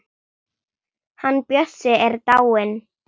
Hann Bjössi er dáinn.